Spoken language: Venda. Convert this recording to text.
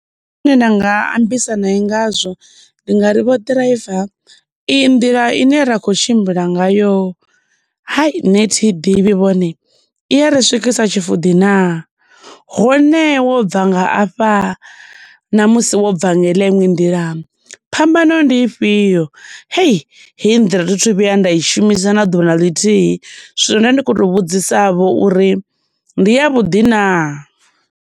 Nda nga ambisa nae ngazwo, ndi nga ri vho ḓiraiva, iyi nḓila ine ra khou tshimbila ngayo, hayi nṋe thi i ḓivhi vhone, i ya ri swikisa Tshifuḓi naa? Hone wo bva nga afha, na musi wo bva nga iḽa iṅwe nḓila phambano ndi ifhio? Hei, heyi ndila thi thu vhuya nda i shumisa na ḓuvha na ḽithihi, zwino nda ndi kho tou vhudzisa vho uri ndi ya vhuḓi na?